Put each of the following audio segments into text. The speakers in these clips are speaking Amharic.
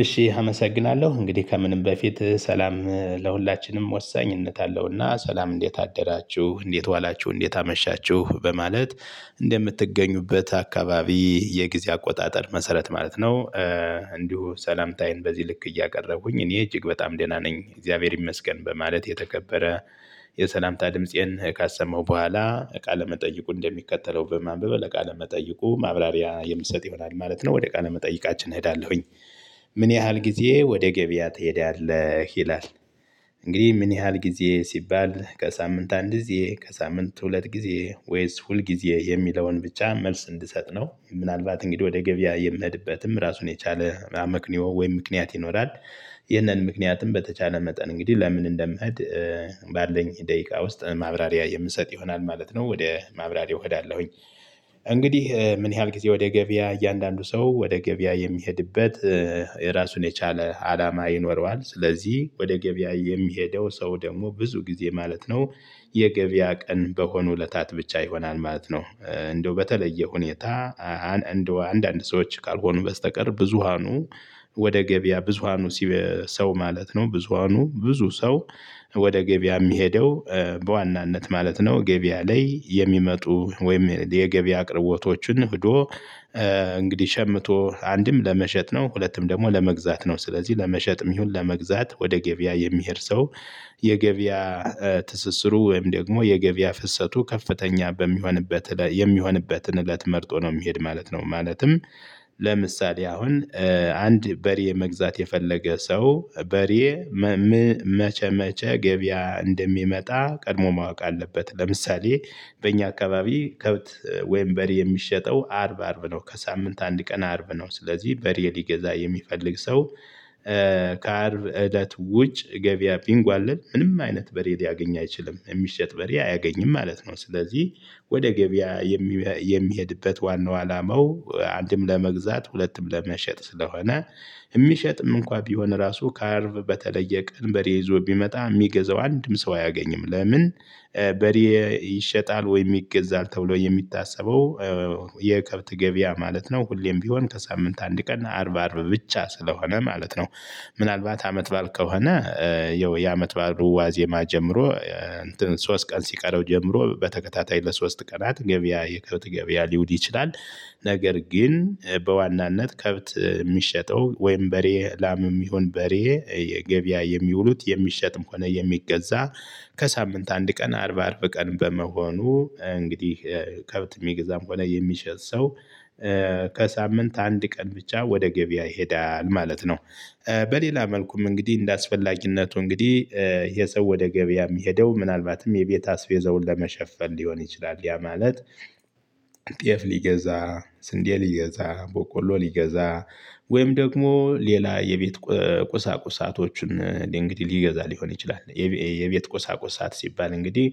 እሺ አመሰግናለሁ እንግዲህ ከምንም በፊት ሰላም ለሁላችንም ወሳኝነት አለውና ሰላም እንዴት አደራችሁ እንዴት ዋላችሁ እንዴት አመሻችሁ በማለት እንደምትገኙበት አካባቢ የጊዜ አቆጣጠር መሰረት ማለት ነው እንዲሁ ሰላምታዬን በዚህ ልክ እያቀረቡኝ እኔ እጅግ በጣም ደህና ነኝ እግዚአብሔር ይመስገን በማለት የተከበረ የሰላምታ ድምፄን ካሰማው በኋላ ቃለ መጠይቁን እንደሚከተለው በማንበብ ለቃለ መጠይቁ ማብራሪያ የምትሰጥ ይሆናል ማለት ነው ወደ ቃለ መጠይቃችን እሄዳለሁኝ። ምን ያህል ጊዜ ወደ ገበያ ትሄዳለህ ይላል? እንግዲህ ምን ያህል ጊዜ ሲባል ከሳምንት አንድ ጊዜ ከሳምንት ሁለት ጊዜ ወይስ ሁል ጊዜ የሚለውን ብቻ መልስ እንድሰጥ ነው። ምናልባት እንግዲህ ወደ ገበያ የምሄድበትም ራሱን የቻለ አመክንዩ ወይም ምክንያት ይኖራል። ይህንን ምክንያትም በተቻለ መጠን እንግዲህ ለምን እንደምሄድ። ባለኝ ደቂቃ ውስጥ ማብራሪያ የምሰጥ ይሆናል ማለት ነው። ወደ ማብራሪያው እሄዳለሁኝ። እንግዲህ ምን ያህል ጊዜ ወደ ገበያ እያንዳንዱ ሰው ወደ ገበያ የሚሄድበት የራሱን የቻለ አላማ ይኖረዋል። ስለዚህ ወደ ገበያ የሚሄደው ሰው ደግሞ ብዙ ጊዜ ማለት ነው። የገበያ ቀን በሆኑ እለታት ብቻ ይሆናል ማለት ነው። እንደው በተለየ ሁኔታ። አንድ አንድ ሰዎች ካልሆኑ በስተቀር ብዙሃኑ ወደ ገበያ ብዙሃኑ ሲ ሰው ማለት ነው ብዙሃኑ ብዙ ሰው። ወደ ገበያ የሚሄደው። በዋናነት ማለት ነው ገበያ ላይ የሚመጡ ወይም የገበያ አቅርቦቶችን ብዶ እንግዲህ ሸምቶ አንድም ለመሸጥ ነው። ሁለቱም ደግሞ ለመግዛት ነው። ስለዚህ ለመሸጥም ይሁን ለመግዛት ወደ ገቢያ የሚሄድ ሰው። የገቢያ ትስስሩ ወይም ደግሞ የገበያ ፍሰቱ ከፍተኛ በሚሆንበት የሚሆንበትን እለት መርጦ ነው የሚሄድ ማለት ነው። ማለትም ለምሳሌ አሁን አንድ በሬ መግዛት የፈለገ ሰው በሬ መቸመቸ ገበያ እንደሚመጣ ቀድሞ ማወቅ አለበት። ለምሳሌ በእኛ አካባቢ ከብት ወይም በሪ የሚሸጠው አርብ አርብ ነው ከሳምንት አንድ ቀን አርብ ነው። ስለዚህ በሪ ሊገዛ የሚፈልግ ሰው ከአርብ እለት ውጭ ገቢያ ቢንጓለል ምንም አይነት በሬ ሊያገኝ አይችልም የሚሸጥ በሬ አያገኝም ማለት ነው። ስለዚህ ወደ ገበያ የሚሄድበት ዋናው አላማው አንድም ለመግዛት ሁለትም ለመሸጥ ስለሆነ የሚሸጥም እንኳን ቢሆን ራሱ ከአርብ በተለየ ቀን በሬ ይዞ ቢመጣ የሚገዛው አንድም ሰው አያገኝም ለምን። በሬ ይሸጣል ወይ ይገዛል ተብሎ የሚታሰበው የከብት ገበያ ማለት ነው። ሁሌም ቢሆን ከሳምንት አንድ ቀን አርብ አርብ ብቻ ስለሆነ ማለት ነው። ምናልባት አመት ባል ከሆነ ያው የአመት ባል ዋዜማ ጀምሮ ሶስት ቀን ሲቀረው ጀምሮ በተከታታይ ለሶስት ቀናት ገበያ የከብት ገበያ ሊውል ይችላል። ነገር ግን በዋናነት ከብት የሚሸጠው ወይም በሬ ላምም ይሁን በሬ ገበያ የሚውሉት የሚሸጥም ሆነ የሚገዛ ከሳምንት አንድ ቀን አርብ አርብ ቀን በመሆኑ እንግዲህ ከብት የሚገዛም ሆነ የሚሸጥ ሰው ከሳምንት አንድ ቀን ብቻ ወደ ገበያ ይሄዳል ማለት ነው። በሌላ መልኩም እንግዲህ እንደአስፈላጊነቱ እንግዲህ የሰው ወደ ገበያ የሚሄደው ምናልባትም የቤት አስቤዘውን ለመሸፈን ሊሆን ይችላል ያ ማለት። ጤፍ ሊገዛ ስንዴ ሊገዛ ቦቆሎ ሊገዛ ወይም ደግሞ ሌላ የቤት ቁሳቁሳቶችን እንግዲህ ሊገዛ ሊሆን ይችላል። የቤት ቆሳቆሳት ሲባል እንግዲህ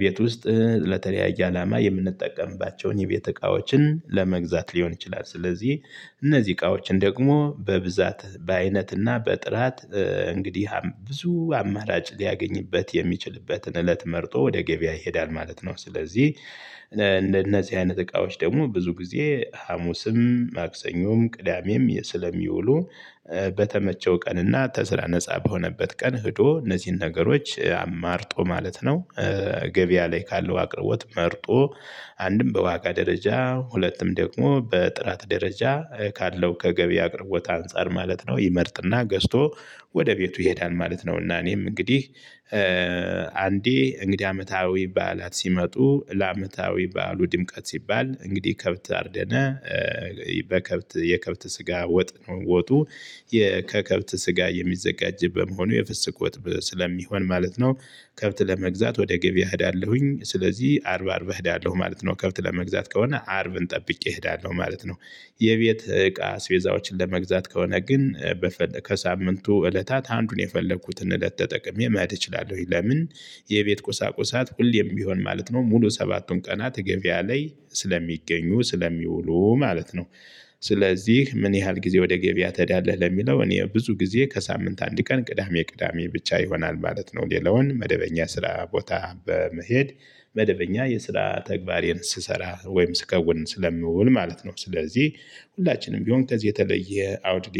ቤት ውስጥ ለተለያየ አላማ የምንጠቀምባቸውን የቤተ እቃዎችን ለመግዛት ሊሆን ይችላል። ስለዚህ እነዚህ እቃዎችን ደግሞ በብዛት በአይነትና በጥራት እንግዲህ ብዙ አማራጭ ሊያገኝበት የሚችልበትን እለት መርጦ ወደ ገበያ ይሄዳል ማለት ነው። ስለዚህ እንደነዚህ አይነት እቃዎች ደግሞ ብዙ ጊዜ ሀሙስም ማክሰኞም ቅዳሜም ስለሚውሉ በተመቸው ቀንና ከስራ ነፃ በሆነበት ቀን ሄዶ እነዚህን ነገሮች አማርጦ ማለት ነው። ገበያ ላይ ካለው አቅርቦት መርጦ አንድም በዋጋ ደረጃ ሁለትም ደግሞ በጥራት ደረጃ ካለው ከገበያ አቅርቦት አንፃር ማለት ነው ይመርጥና ገዝቶ ወደ ቤቱ ይሄዳል ማለት ነው። እና እኔም እንግዲህ አንዴ እንግዲህ አመታዊ በዓላት ሲመጡ ለአመታዊ በዓሉ ድምቀት ሲባል እንግዲህ ከብት አርደነ በከብት የከብት ስጋ ወጥ ነው ወጡ። ከከብት ስጋ የሚዘጋጅ በመሆኑ የፍስግ ወጥ ስለሚሆን ማለት ነው። ከብት ለመግዛት ወደ ገበያ እሄዳለሁኝ ስለዚህ አርብ አርብ እሄዳለሁ ማለት ነው። ከብት ለመግዛት ከሆነ አርብን ጠብቄ እሄዳለሁ ማለት ነው። የቤት እቃ አስቤዛዎችን ለመግዛት ከሆነ ግን ከሳምንቱ እለታት አንዱን የፈለኩትን እለት ተጠቅሜ መሄድ እችላለሁኝ። ለምን የቤት ቁሳቁሳት ሁሌም ቢሆን ማለት ነው ሙሉ ሰባቱን ቀናት ገበያ ላይ ስለሚገኙ ስለሚውሉ ማለት ነው። ስለዚህ ምን ያህል ጊዜ ወደ ገበያ ትሄዳለህ ለሚለው እኔ ብዙ ጊዜ ከሳምንት አንድ ቀን ቅዳሜ ቅዳሜ ብቻ ይሆናል ማለት ነው። ሌላውን መደበኛ ስራ ቦታ በመሄድ መደበኛ የስራ ተግባሬን ስሰራ ወይም ስከውን ስለምውል ማለት ነው። ስለዚህ ሁላችንም ቢሆን ከዚህ የተለየ አውድ